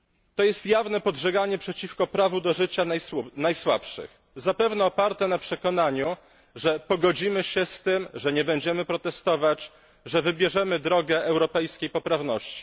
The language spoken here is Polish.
To jest jawne podżeganie przeciwko prawu do życia najsłabszych, zapewne oparte na przekonaniu, że pogodzimy się z tym, że nie będziemy protestować, że wybierzemy drogę europejskiej poprawności.